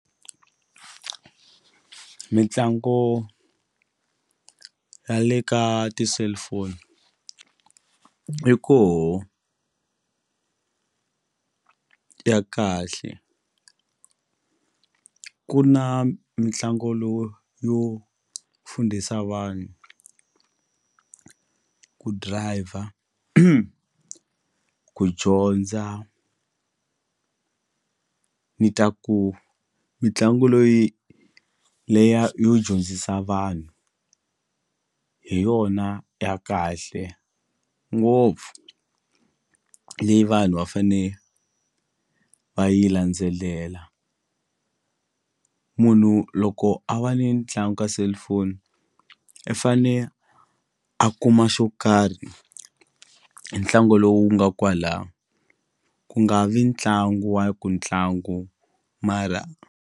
Mitlangu ya le ka ti-cellphone yi koho ya kahle ku na mitlangu lowu yo fundisa vanhu ku driver ku dyondza ni ta ku mitlangu loyi leya yo dyondzisa vanhu hi yona ya kahle ngopfu leyi vanhu va fane va yi landzelela munhu loko a va ni ntlangu ka cellphone i fane a kuma xo karhi hi ntlangu lowu nga kwala ku nga vi ntlangu wa ku ntlangu mara.